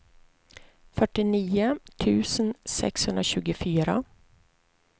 fyrtionio tusen sexhundratjugofyra